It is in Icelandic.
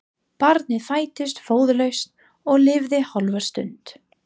Barnið fæddist föðurlaust og lifði hálfa stund.